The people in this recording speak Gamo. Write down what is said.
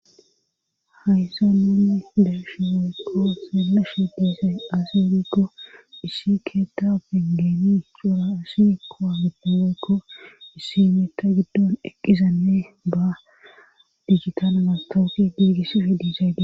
haysa nonni deheshi weykko seemmeshe diisay aseerikko issi keetta bengeni xuraasi kowa giddo weykko issi meta giddon eqqizanne ba digitana mastawuti giigissifi diizaydi